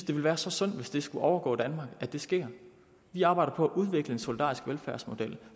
det ville være så synd hvis det skulle overgå danmark at det skete vi arbejder på at udvikle en solidarisk velfærdsmodel